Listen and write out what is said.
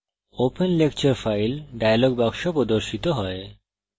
open lecture file dialog box প্রদর্শিত হয়